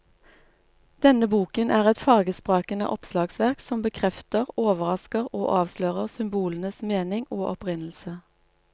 Denne boken er et fargesprakende oppslagsverk som bekrefter, overrasker og avslører symbolenes mening og opprinnelse.